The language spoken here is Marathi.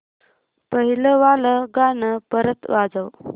पहिलं वालं गाणं परत वाजव